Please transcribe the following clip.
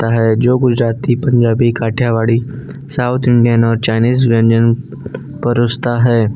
है जो Gujarati Punjabi Kathiawadi south Indian और चाइनीस व्यंजन पेरोसता है।